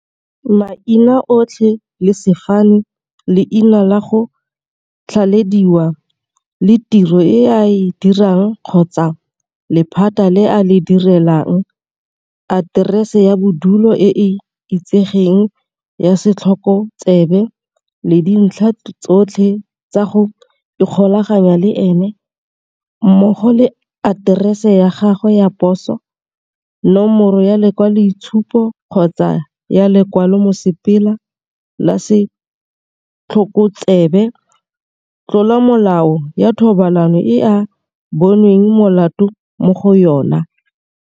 Maina otlhe le sefane, leina la go tlhalediwa le tiro e a e dirang kgotsa lephata le a le direlang, Aterese ya bodulo e e itsegeng ya setlhokotsebe, le dintlha tsotlhe tsa go ikgolaganya le ena, mmogo le aterese ya gagwe ya poso, Nomoro ya lekwaloitshupo kgotsa ya lekwalo la mosepele la setlhokotsebe, Tlolomolao ya thobalano e a bonweng molato mo go yona.